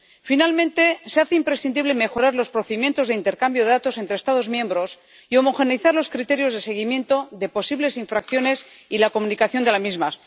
Finalmente, se hace imprescindible mejorar los procedimientos de intercambio de datos entre Estados miembros y homogeneizar los criterios de seguimiento de posibles infracciones y la comunicación de las mismas.